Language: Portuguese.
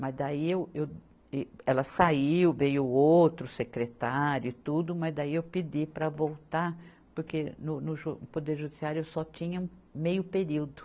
Mas daí eu, eu, ela saiu, veio outro secretário e tudo, mas daí eu pedi para voltar, porque no, no jo, no Poder Judiciário eu só tinha meio período.